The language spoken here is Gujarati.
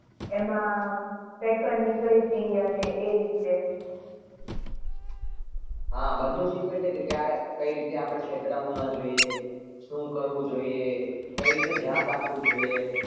એમાં નીકળી હતી અને એ રીતે